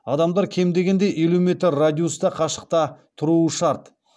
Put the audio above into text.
адамдар кем дегенде елу метр радиуста қашықта тұруы шарт